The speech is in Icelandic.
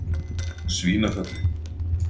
Svínafelli